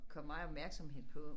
Kommet meget opmærksomhed på